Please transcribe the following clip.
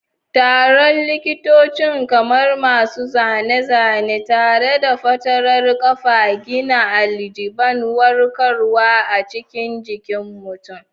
Taron likitocin, kamar masu zane-zane tare da fatarar ƙafa, gina al'ajiban warkarwa a cikin jikin mutum.